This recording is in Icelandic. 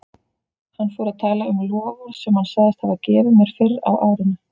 Hann fór að tala um loforð sem hann sagðist hafa gefið mér fyrr á árinu.